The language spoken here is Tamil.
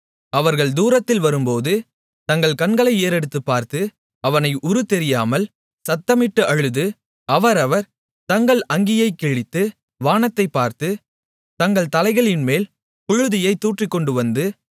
அவர்கள் தூரத்தில் வரும்போது தங்கள் கண்களை ஏறெடுத்துப் பார்த்து அவனை உருத்தெரியாமல் சத்தமிட்டு அழுது அவரவர் தங்கள் அங்கியைக் கிழித்து வானத்தைப் பார்த்து தங்கள் தலைகள்மேல் புழுதியைத் தூற்றிக்கொண்டுவந்து